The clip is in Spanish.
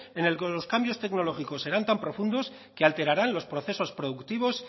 en el que los cambios tecnológicos serán tan profundos que alterarán los procesos productivos